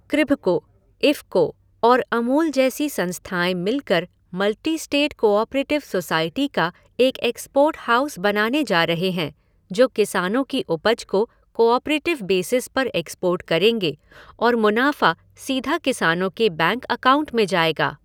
कृभको, इफको और अमूल जैसी संस्थाएँ मिलकर मल्टी स्टेट कोऑपरेटिव सोसाइटी का एक एक्सपोर्ट हाउस बनाने जा रहे हैं जो किसानों की उपज को कोऑपरेटिव बेसिस पर एक्सपोर्ट करेंगे और मुनाफा सीधा किसानों के बैंक अकाउंट में जाएगा